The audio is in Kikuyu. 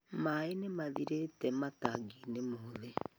Maaĩ nĩ mathĩrite matangiinĩ mothe